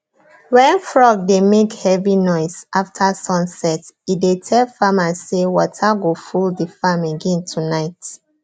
when frog dey make heavy noise after sun set e dey tell farmers say water go full the farm again tonight